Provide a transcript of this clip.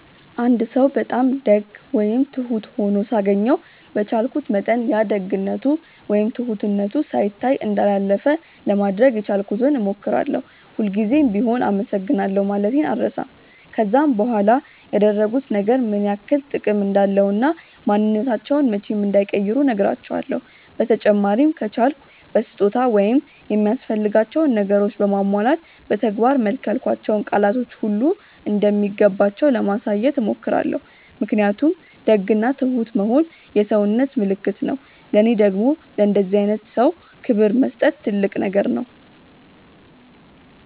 አንድ ሰው በጣም ደግ ወይም ትሁት ሆኖ ሳገኘው በቻልኩት መጠን ያ ደግነቱ ወይም ትሁትነቱ ሳይታይ እንዳላለፈ ለማድረግ የቻልኩትን ሞክራለው፤ ሁል ጉዘም ቢሆም አመሰግናለሁ ማለቴን አልረሳም፤ ከዛም በኋላ ያደረጉት ነገር ምን ያክል ጥቅም እንዳለው እና ማንንነታቸውን መቼም እንዳይቀይሩ ነህራቸውለው፤ በተጨማሪም ከቻልኩ በስጦታ ወይም የሚያስፈልጋቸውን ነገር በማሟላት በተግባር መልክ ያልኳቸው ቃላቶች ሁሉ እንደሚገባቸው ለማሳየት ሞክራለው ምክንያቱም ደግ እና ትሁት መሆን የሰውነት ምልክት ነው ለኔ ደግም ለእንደዚህ አይነት ሰው ክብር መስጠት ትልቅ ነገር ነው።